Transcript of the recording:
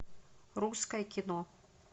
русское кино